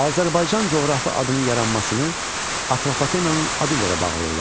Azərbaycan coğrafi adının yaranmasını Atropatenanın adı ilə də bağlayırlar.